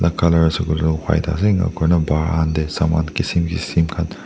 Colour ase koile white ase enia koina bahar te saman kisim kisim khan--